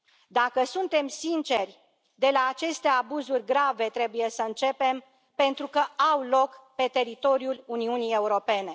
Dacă suntem sinceri, de la aceste abuzuri grave trebuie să începem, pentru că au loc pe teritoriul Uniunii Europene.